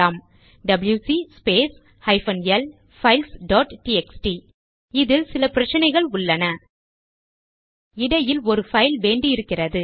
WC space hyphen L files dot TXT இதில் சில பிரச்சனைகள் உள்ளன இடையில் ஒரு பைல் வேண்டி இருக்கிறது